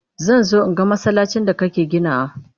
Zan zo in ga masallacin da kake ginawa.